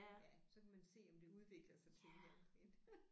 Ja så kan man se om det udvikler sig til et eller andet en